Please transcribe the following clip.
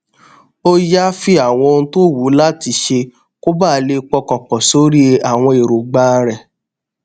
ó yááfì àwọn ohun tó wù ú láti ṣe kó bàa lè pọkàn pò sórí àwọn èròǹgbà rè